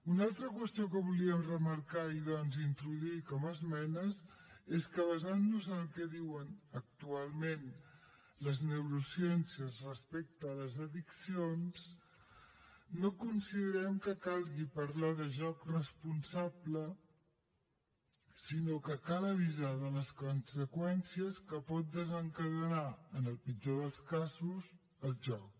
una altra qüestió que volíem remarcar i doncs introduir com a esmenes és que basant nos en el que diuen actualment les neurociències respecte a les addiccions no considerem que calgui parlar de joc responsable sinó que cal avisar de les conseqüències que pot desencadenar en el pitjor dels casos el joc